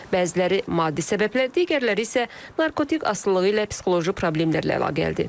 Bəziləri maddi səbəblər, digərləri isə narkotik asılılığı ilə psixoloji problemlərlə əlaqəlidir.